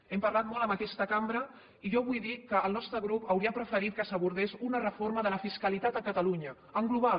n’hem parlat molt en aquesta cambra i jo vull dir que el nostre grup hauria preferit que s’abordés una reforma de la fiscalitat a catalunya en global